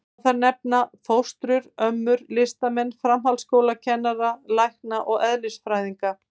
Má þar nefna: fóstrur, ömmur, listamenn, framhaldsskólanema, lækna og eðlisfræðinga.